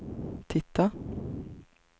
titta